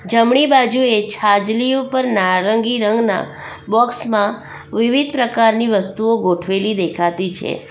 જમણી બાજુએ છાજલીઓ પર નારંગી રંગના બોક્સ માં વિવિધ પ્રકારની વસ્તુઓ ગોઠવેલી દેખાતી છે.